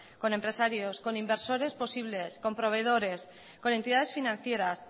con empresarios con inversores posibles con proveedores con entidades financieras